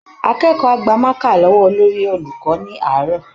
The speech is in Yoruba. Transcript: Akẹ́kọ̀ọ́ á gba mákà lọ́wọ́ olórí-olùkọ́ ní àárọ̀